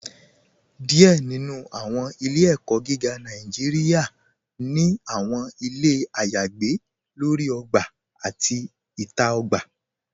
Díẹ̀ nínú àwọn ilẹ̀-ẹ̀kó̩ gígá Nàìjíríà ni àwọn ilẹ̀ ayagbè lórí ògbà àti ìta ògbà.